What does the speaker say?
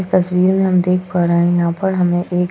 इस तस्वीर में हम देख पा रहे हैं यहाँ पर हमें एक --